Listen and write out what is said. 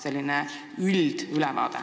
Selline üldülevaade.